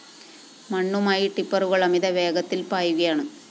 മണ്ണുമായി ടിപ്പറുകള്‍ അമിത വേഗത്തില്‍ പായുകയാണ്